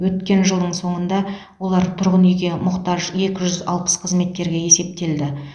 өткен жылдың соңында олар тұрғын үйге мұқтаж екі жүз алпыс қызметкерге есептелді